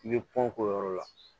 I bɛ pan k'o yɔrɔ la